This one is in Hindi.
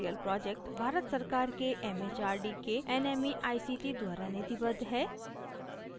spoken tutorial project भारत सरकार के एमएचआरडी के nmeict द्वारा निधिबद्ध है